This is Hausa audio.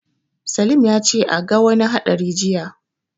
Salim ya ce a ga wani haɗari jiya.